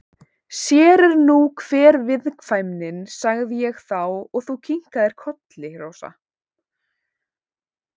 Sér er nú hver viðkvæmnin, sagði ég þá og þú kinkaðir kolli, Rósa.